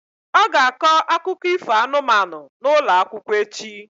Ọ ga-akọ akụkọ ifo anụmanụ n'ụlọ akwụkwọ echi.